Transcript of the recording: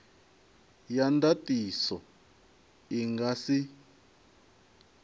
ya ndatiso i nga si